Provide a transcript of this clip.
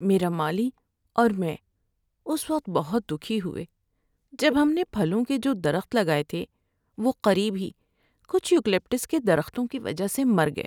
میرا مالی اور میں اس وقت بہت دکھی ہوئے جب ہم نے پھلوں کے جو درخت لگائے تھے وہ قریب ہی کچھ یوکلپٹس کے درختوں کی وجہ سے مر گئے۔